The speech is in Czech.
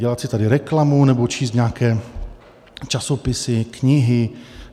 Dělat si tady reklamu nebo číst nějaké časopisy, knihy.